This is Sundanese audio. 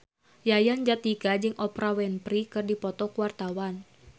Yayan Jatnika jeung Oprah Winfrey keur dipoto ku wartawan